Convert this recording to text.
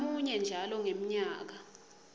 ngamunye njalo ngemnyaka